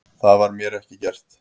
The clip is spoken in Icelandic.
Það var mér ekki gert